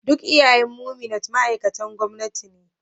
Duk iyayen Memunant ma'aikatan gwamnati ne